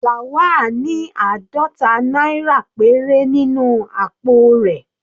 Lawal ní àádọta náírà péré nínú àpò rẹ̀.